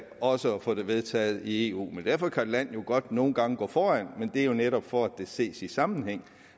også at få det vedtaget i eu derfor kan man jo godt nogle gange gå foran men det er jo netop for at det skal ses i sammenhæng